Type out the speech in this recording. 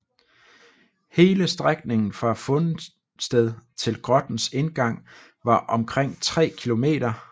Hele strækningen fra fundsted til grottens indgang var omkring tre kilometer